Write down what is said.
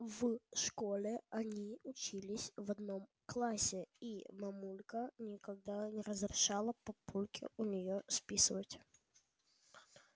в школе они учились в одном классе и мамулька никогда не разрешала папульке у неё списывать